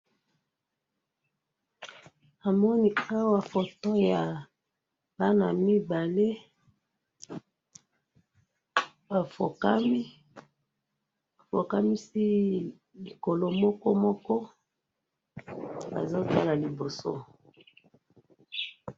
namoni awa photo ya bana mibale bafokami bafokamisi likolo moko bazo tala liboso